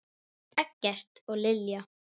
Eggert og Lilja.